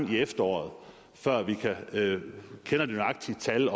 til efteråret før vi kender det nøjagtige tal